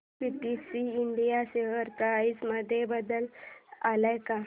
PTC India share price मध्ये बदल आलाय का